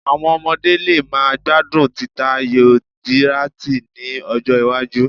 Àwọn ọmọdé lè má gbádùn títa ayò díráàtì ní ọjọ́-iwájú.